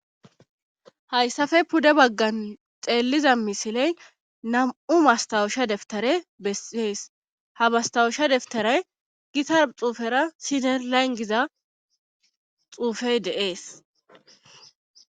hayssafe pudde baggan xeelliza misiley nam7u mastawusha deftare bessees ha bastawusha deftaray gitar xuufera sine langiza xuufey de'ees